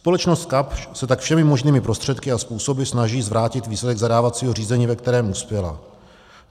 Společnost Kapsch se tak všemi možnými prostředky a způsoby snaží zvrátit výsledek zadávacího řízení, ve kterém uspěla.